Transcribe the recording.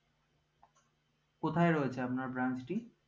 কোথায় রয়েছে আপনার branch টি